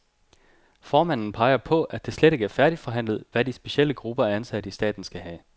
Formanden peger på, at det slet ikke er færdigforhandlet, hvad de specielle grupper af ansatte i staten skal have.